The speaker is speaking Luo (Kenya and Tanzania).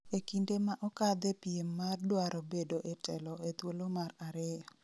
ekinde ma okadhe piem mar dwaro bedo e telo e thuolo mar ariyo